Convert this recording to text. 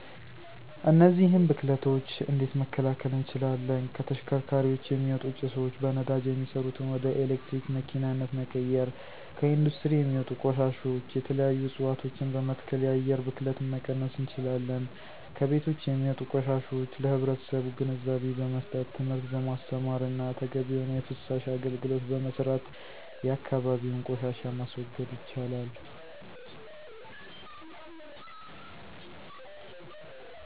እነዚህን ብክለቶች እንዴት መከላከል እንችላለን 1. ከተሽከርካሪዎች የሚወጡ ጭሶች፦ በነዳጅ የሚሠሩትን ወደ የኤሌክትሪክ መኪናነት መቀየር። 2. ከኢንዱስትሪ የሚወጡ ቆሻሾች፦ የተለያዩ እፅዋቶችን በመትከል የአየር ብክለትን መቀነስ እንችላለን። 3. ከቤቶች የሚወጡ ቆሻሾች፦ ለህብረተሰቡ ግንዛቤ በመስጠት፣ ትምህርት በማስተማር እና ተገቢ የሆነ የፍሳሽ አገልግሎት በመስራት የአካባቢውን ቆሻሻ ማስወገድ ይቻላን።